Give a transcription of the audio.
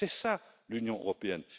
C'est ça, l'Union européenne.